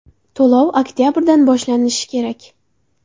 To‘lov oktabrdan boshlanishi kerak.